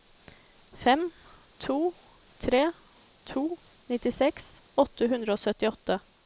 fem to tre to nittiseks åtte hundre og syttiåtte